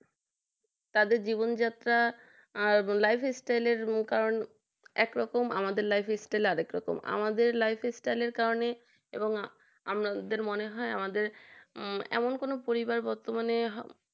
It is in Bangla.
তাদের জীবনযাত্রা আর lifestyle কারণ একরকম lifestyle আরেক রকম আমাদের lifestyle এর কারণে আমাদের মনে হয় এমন কোন পরিবার বর্তমানে